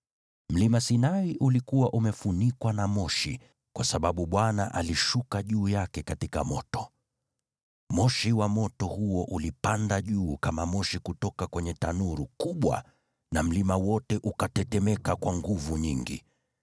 Mlima Sinai ulikuwa umefunikwa na moshi, kwa sababu Bwana alishuka juu yake katika moto. Moshi wa moto huo ulipanda juu kama moshi kutoka kwenye tanuru kubwa na mlima wote ukatetemeka kwa nguvu nyingi,